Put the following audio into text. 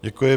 Děkuji.